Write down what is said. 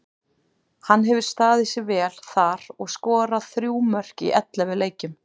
Hann hefur staðið sig vel þar og skorað þrjú mörk í ellefu leikjum.